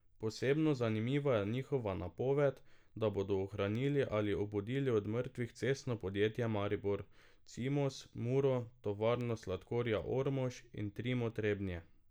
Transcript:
Posebno zanimiva je njihova napoved, da bodo ohranili ali obudili od mrtvih Cestno podjetje Maribor, Cimos, Muro, Tovarno sladkorja Ormož in Trimo Trebnje.